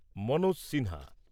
Manoj Sinha